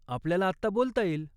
आपल्याला आत्ता बोलता येईल.